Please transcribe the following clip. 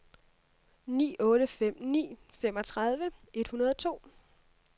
ni otte fem ni femogtredive et hundrede og to